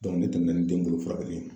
ne tɛmɛna ni den bolo furakɛli ye.